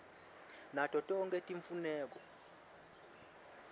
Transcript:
nato tonkhe timfuneko